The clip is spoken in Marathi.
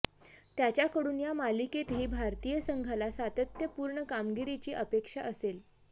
त्याच्याकडून या मालिकेतही भारतीय संघाला सातत्यपूर्ण कामगिरीची अपेक्षा असेल